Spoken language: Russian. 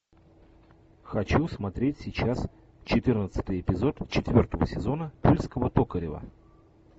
хочу смотреть сейчас четырнадцатый эпизод четвертого сезона тульского токарева